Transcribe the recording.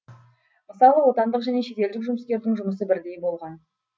мысалы отандық және шетелдік жұмыскердің жұмысы бірдей болған